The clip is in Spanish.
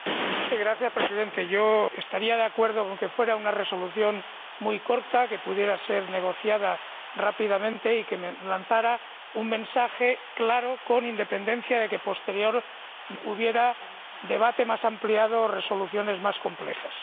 Señor Presidente, estaría de acuerdo con que fuera una resolución muy corta, que pudiera ser negociada rápidamente y que lanzara un mensaje claro, con independencia de que, posteriormente, hubiera un debate más amplio y resoluciones más complejas.